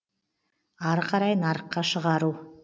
ары қарай нарыққа шығару